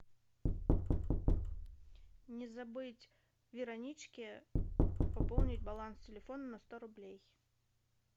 не забыть вероничке пополнить баланс телефона на сто рублей